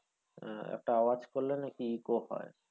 আহ একটা আওয়াজ করলে নাকি echo হয়।